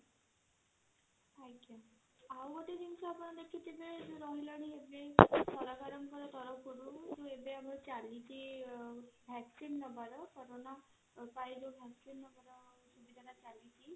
ଆଉ ଗୋଟେ ଜିନିଷ ଆପଣ ଦେଖିଥିବେ ସରକାରଙ୍କ ତରଫରୁ ଏବେ ମାର ଚାଲିଛି vaccine ନବର କାରଣ